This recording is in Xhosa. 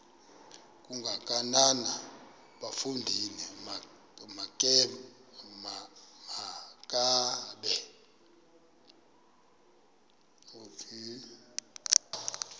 kangakanana bafondini makabe